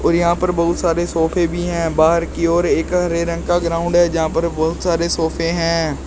यहां पर बहुत सारे सोफे भी हैं बाहर की ओर एक हरे रंग का ग्राउंड है जहां पर बहुत सारे सोफे हैं।